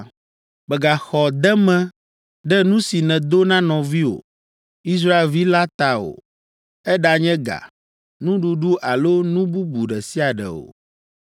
“Mègaxɔ deme ɖe nu si nèdo na nɔviwò, Israelvi la ta o, eɖanye ga, nuɖuɖu alo nu bubu ɖe sia ɖe o.